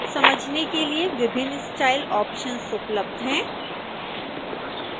समझने के लिए विभिन्न स्टाइल ऑप्शन्स उपलब्ध हैं